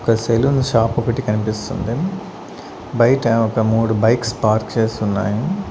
ఒక saloon shop ఒకటి కనిపిస్తుంది బయట ఒక మూడు బైక్స్ పార్క్ చేసి ఉన్నాయి.